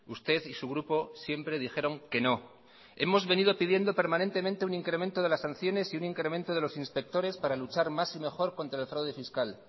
usted y su grupo siempre dijeron que no hemos venido pidiendo permanentemente un incremento de las sanciones y un incremento de los inspectores para luchar más y mejor contra el fraude fiscal